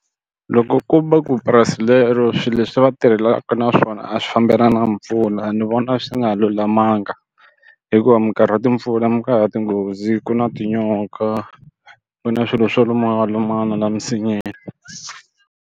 Loko ko va ku purasi lero swilo leswi va tirhelaka na swona a swi fambelani na mpfula ni vona swi nga lulamanga hikuva minkarhi ya timpfula mi ka ya tinghozi ku na tinyoka ku na swilo swo luma lumana la emisinyeni.